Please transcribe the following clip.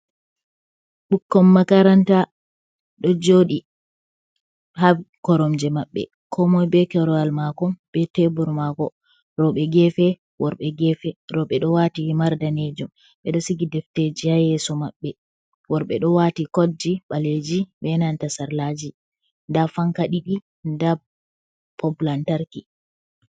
Ɓikkon makaranta ɗo jooɗi haa koromje maɓɓe, koo moy bee korwal maako bee Teebur maako, rewɓe geefe, worɓe geefe. Rewɓe ɗo waati himar daneejum, ɓe ɗo sigi defteeji haa yeeso maɓɓe, worɓe ɗo waati koɗji ɓaleeji bee nanta sarlaaji, ndaa fanka ɗiɗi nda bob lantarki.